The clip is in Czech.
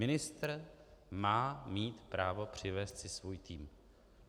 Ministr má mít právo přivést si svůj tým.